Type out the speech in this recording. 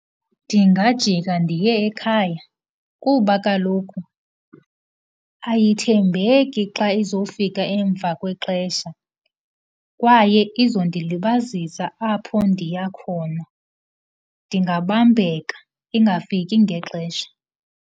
Ndingajika ndiye ekhaya kuba kaloku ayithembeki xa izofika emva kwexesha kwaye izondilibazisa apho ndiya khona, ndingabambeka, ingafiki ngexesha.